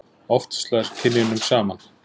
oft slær kynjunum saman